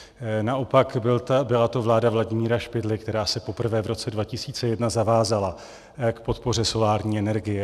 Naopak, byla to vláda Vladimíra Špidly, která se poprvé v roce 2001 zavázala k podpoře solární energie.